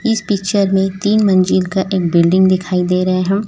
इस पिक्चर मैं तीन मंजिल का एक बिल्डिंग दिखाई दे रेहा--